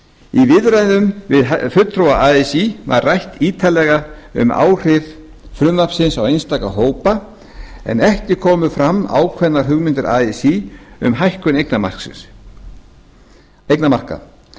viðræðum við fulltrúa así var rætt ítarlega um áhrif frumvarpsins á einstaka hópa en ekki komu fram ákveðnar hugmyndir así um hækkun eignamarka